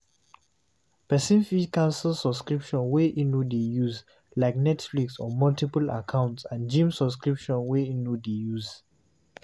Person fit cancel subscription wey im no dey use like nexflix on multiple accounts and gym subscription wey im no dey use